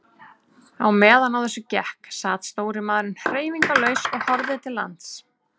Á meðan á þessu gekk sat stóri maðurinn hreyfingarlaus og horfði til lands.